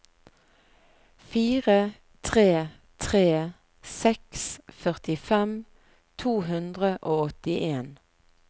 fire tre tre seks førtifem to hundre og åttien